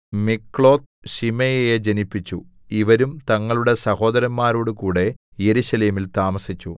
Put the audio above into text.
മിക്ലോത്ത് ശിമെയയെ ജനിപ്പിച്ചു ഇവരും തങ്ങളുടെ സഹോദരന്മാരോടുകൂടെ യെരൂശലേമിൽ താമസിച്ചു